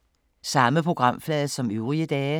Samme programflade som øvrige dage